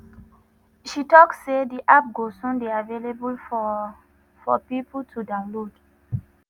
she tok say di app go soon dey available for for pipo to download.